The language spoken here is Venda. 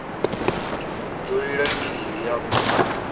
hu ḓo lila kili hafha